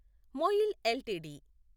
MOIL LTD